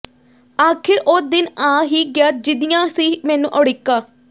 ਆਖਿਰ ਉਹ ਦਿਨ ਆ ਹੀ ਗਿਆ ਜਿਦੀ੍ਹਆਂ ਸੀ ਮੈਨੂੰ ਉੜੀਕਾਂ